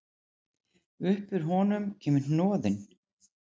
Upp úr honum kemur hnoðinn.